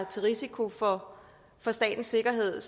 til risiko for for statens sikkerhed